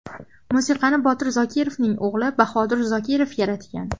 Musiqasini Botir Zokirovning o‘g‘li Bahodir Zokirov yaratgan.